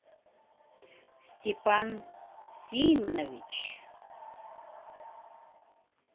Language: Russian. степан симонович